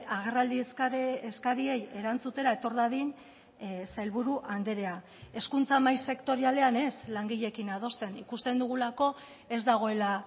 agerraldi eskariei erantzutera etor dadin sailburu andrea hezkuntza mahai sektorialean ez langileekin adosten ikusten dugulako ez dagoela